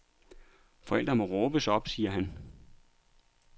Forældrene må råbes op, siger han.